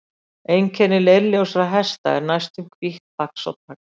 Einkenni leirljósra hesta er næstum hvítt fax og tagl.